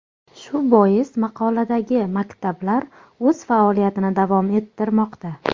Shu bois maqoladagi maktablar o‘z faoliyatini davom ettirmoqda.